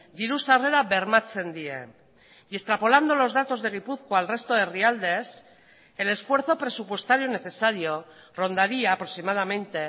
diru sarrera bermatzen die y extrapolando los datos de gipuzkoa al resto de herrialdes el esfuerzo presupuestario necesario rondaría aproximadamente